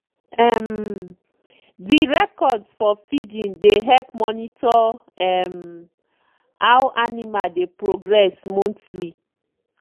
um dey records for feeding dey help monitor um how animal dey progress monthly.